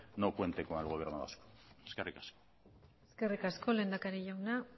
no cuente con el gobierno vasco eskerrik asko lehendakari jauna